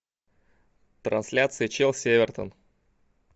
трансляция челси эвертон